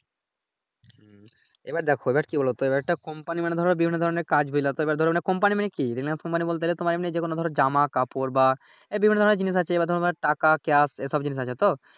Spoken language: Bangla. এইবার দেখো এইবার কি বলো তো এইবার একটা কোম্পানি মানি ধরো বিভিন্ন ধরনের কাজ ডিলার তো এইবার ধরো মানে কোম্পানি মানে কি রিলেন্স কোম্পানি বলতে যে তোমার এমনি যে কোন ধরনের জামা কাপড় বা বিভিন্ন ধরনের জিনিস আছে এইবার ধরো মানে টাকা ক্যাশ